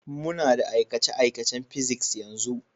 Muna da aikace-aikacen Physics yanzu.